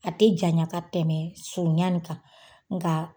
A tɛ janya ka tɛmɛ surunyan in kan nka